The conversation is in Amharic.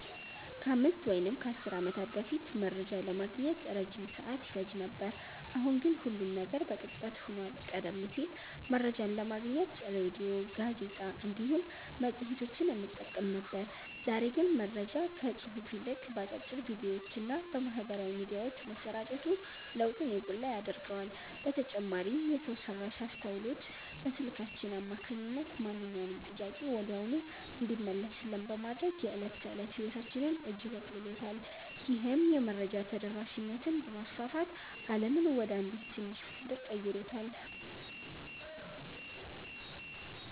ከአምስት ወይም ከአሥር ዓመታት በፊት መረጃ ለማግኘት ረጅም ሰዓት ይፈጅ ነበር፤ አሁን ግን ሁሉም ነገር በቅጽበት ሆኗል። ቀደም ሲል መረጃን ለማግኘት ሬድዮ፣ ጋዜጣ እንዲሁም መጽሔቶችን እንጠቀም ነበር፤ ዛሬ ግን መረጃ ከጽሑፍ ይልቅ በአጫጭር ቪዲዮዎችና በማኅበራዊ ሚዲያዎች መሰራጨቱ ለውጡን የጎላ ያደርገዋል። በተጨማሪም የሰው ሠራሽ አስተውሎት በስልካችን አማካኝነት ማንኛውንም ጥያቄ ወዲያውኑ እንዲመለስልን በማድረግ የዕለት ተዕለት ሕይወታችንን እጅግ አቅልሎታል። ይህም የመረጃ ተደራሽነትን በማስፋት ዓለምን ወደ አንዲት ትንሽ መንደር ቀይሯታል።"